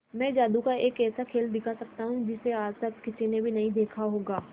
मैं जादू का एक ऐसा खेल दिखा सकता हूं कि जिसे आज तक किसी ने भी नहीं देखा होगा